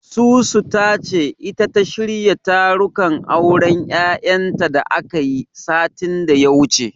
Susu ta ce, ita ta shirya tarukan auren Yayanta da akayi, satin da ya wuce.